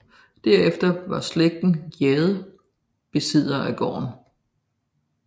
Derefter var slægten Gjedde besiddere af gården